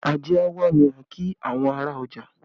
Ajé a wá ni a kí àwọn ará ọjà